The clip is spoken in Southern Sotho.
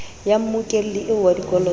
ya mmokelli eo wa dikoloto